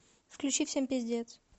включи всем пиздец